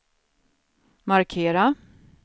markera